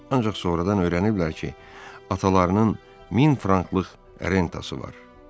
Ancaq sonradan öyrəniblər ki, atalarının min franklıq rentası var.